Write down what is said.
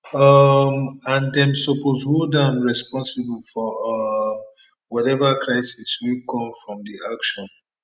um and dem suppose hold am responsible for um whatever crisis wey come from di action